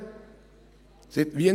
»– «Es sind Wienerli.